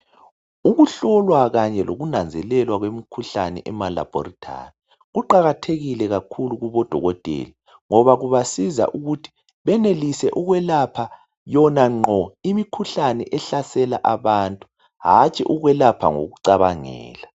Ukuhlolwa Kanye lokunanzelelwa kwemikhuhlane ema laboratory kuqakathekile kakhulu Kubo dokotela ngoba kuzasiza ukuthi benelise ukwelapha yona ngqo imikhuhlane ehlasela abantu hantshi ukwelapha ngokucabangela